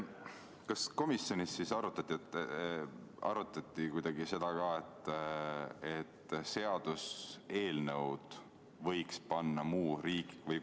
Kas komisjonis arutati kuidagi ka seda, et seaduseelnõu võiks panna muu riigielu küsimusena?